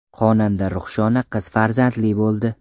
Xonanda Ruhshona qiz farzandli bo‘ldi.